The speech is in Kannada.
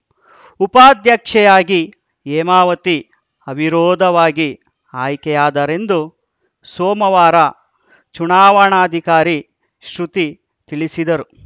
ಉಪಾಧ್ಯಕ್ಷೆಯಾಗಿ ಹೇಮಾವತಿ ಅವಿರೋಧವಾಗಿ ಆಯ್ಕೆಯಾದರೆಂದು ಸೋಮವಾರ ಚುನಾವಣಾಧಿಕಾರಿ ಶೃತಿ ತಿಳಿಸಿದರು